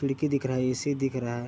खिड़की दिख रहा है ए_सी दिख रहा है।